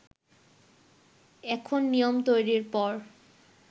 এখন নিয়ম তৈরির পর